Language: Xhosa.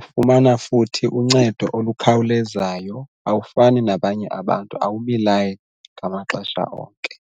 ufumana futhi uncedo olukhawulezayo awufani nabanye abantu awumi layini ngamaxesha onke.